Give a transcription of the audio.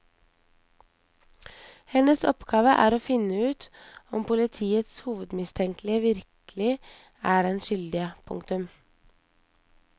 Hennes oppgave er å finne ut om politiets hovedmistenkte virkelig er den skyldige. punktum